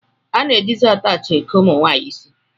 A na-ejizi ataachị eke ụmụnwaanyị isi